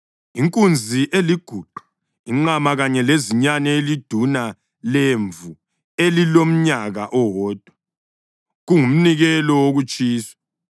inkunzi eliguqa, inqama kanye lezinyane eliduna lemvu elilomnyaka owodwa, kungumnikelo wokutshiswa;